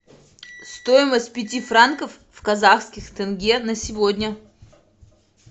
стоимость пяти франков в казахских тенге на сегодня